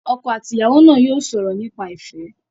Ọkọ àti ìyàwó náà yóò sọ̀rọ̀ nípa ìfẹ́.